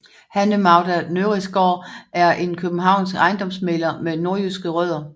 Hanne Magda Nørrisgaard er en københavnsk ejendomsmægler med nordjyske rødder